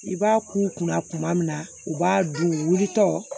I b'a k'u kunna kuma min na u b'a dun u wulitɔ